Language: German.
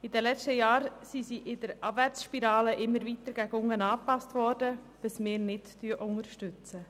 In den letzten Jahren sind sie in einer Abwärtsspirale immer weiter nach unten angepasst worden, was wir nicht unterstützen.